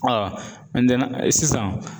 sisan